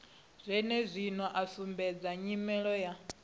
zwenezwino a sumbedza nyimele ya